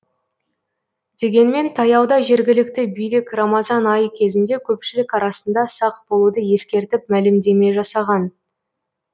дегенмен таяуда жергілікті билік рамазан айы кезінде көпшілік арасында сақ болуды ескертіп мәлімдеме жасаған